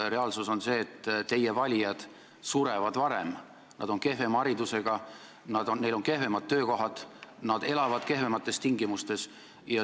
Reaalsus on see, et teie valijad surevad varem, nad on kehvema haridusega, neil on kehvemad töökohad ja nad elavad kehvemates tingimustes.